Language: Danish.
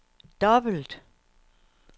dobbelt